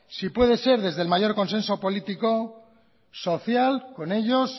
si puede ser desde el mayor consenso político social con ellos